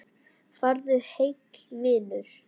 Farðu heill, vinur.